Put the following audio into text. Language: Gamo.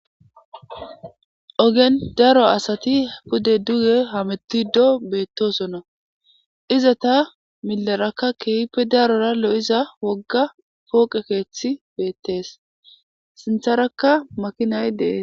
Ogen daro asati pudde duge hametido beettosonna iza ta milarakka keehippe darora lo7iza wogga pooqe keeththi beettees sintharakka makinay dees.